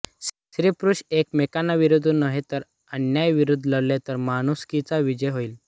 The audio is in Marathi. स्त्रीपुरुष एकमेकांविरुद्ध नव्हे तर अन्यायाविरुद्ध लढले तर माणुसकीचा विजय होईल